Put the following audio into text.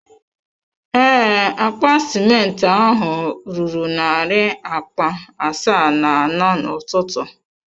Ee, akpa simenti ahụ ruru narị akpa asaa na anọ n’ụtụtụ.